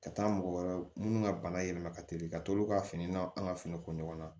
Ka taa mɔgɔ wɛrɛ minnu ka bana yɛlɛma ka teli ka t'olu ka fini na an ka finiko ɲɔgɔnna